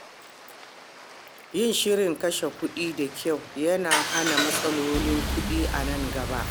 Yin shirin kashe kuɗi da kyau yana hana matsalolin kuɗi a nan gaba.